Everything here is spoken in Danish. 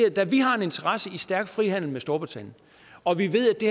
at da vi har en interesse i en stærk frihandel med storbritannien og vi ved at det